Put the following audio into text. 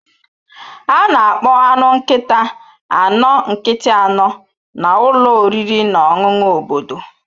A na-akpọ anụ nkịta anọ nkịtị anọ na ụlọ oriri na ọṅụṅụ obodo